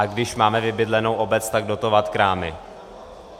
A když máme vybydlenou obec, tak dotovat krámy.